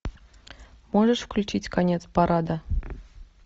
можешь включить конец парада